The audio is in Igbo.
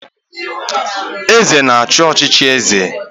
Eze na-achị n'ọchịchị eze